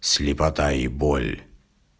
слепота и боль